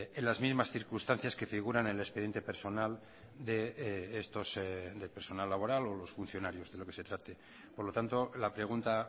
en las mismas circunstancias que figuran en el expediente personal laboral o los funcionarios de lo que se trate por lo tanto la pregunta